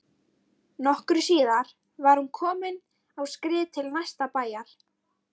Nokkru síðar var hún komin á skrið til næsta bæjar.